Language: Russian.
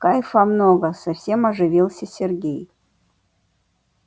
кайфа много совсем оживился сергей